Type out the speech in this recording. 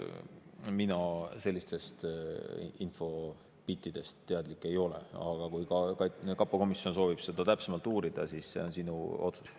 Mina sellisest infost teadlik ei ole, aga kui kapo komisjon soovib seda täpsemalt uurida, siis see on sinu otsus.